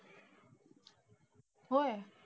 होय?